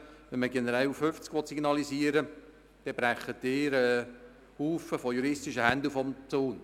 Will man generell 50 km/h signalisieren, dann brechen Sie einen Haufen von juristischen Händel vom Zaun.